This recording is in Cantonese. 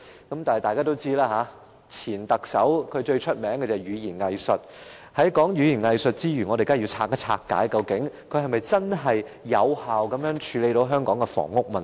不過，正如大家所知，前特首最出名的是語言"偽術"，所以我們當然要拆解一下，他是否真正有效地處理香港的房屋問題？